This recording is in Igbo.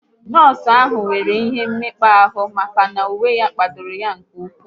Nọọsụ ahụ nwere ihe mekpa ahụ maka na uwe ya kpadoro ya nke ụkwụ